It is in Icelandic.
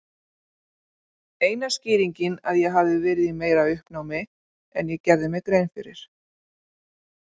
Eina skýringin að ég hafi verið í meira uppnámi en ég gerði mér grein fyrir.